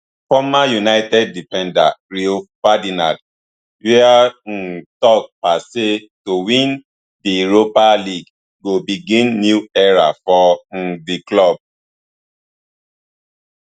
former united defender rio ferdinand wia um tok pa say to win di europa league go begin new era for um di club